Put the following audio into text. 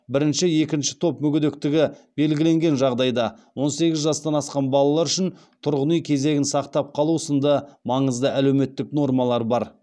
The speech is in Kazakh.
бірінші екінші топ мүгедектігі белгіленген жағдайда он сегіз жастан асқан балалар үшін тұрғын үй кезегін сақтап қалу сынды маызды әлеуметтік нормалар бар